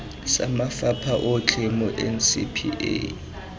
sa mafapha otlhe mo ncpa